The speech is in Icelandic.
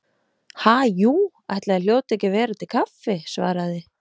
Ha, jú, ætli það hljóti ekki að vera til kaffi- svaraði